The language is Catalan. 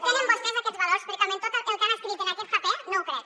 tenen vostès aquests valors perquè amb tot el que han escrit en aquest paper no ho crec